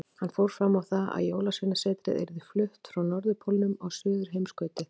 Hann fór fram á það að Jólasveinasetrið yrði flutt frá Norðurpólnum á Suðurheimskautið.